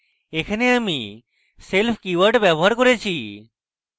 এখানে আমি self keyword ব্যবহার করেছি